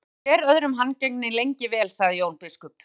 Þið hafið verið hvor öðrum handgengnir lengi vel, sagði Jón biskup.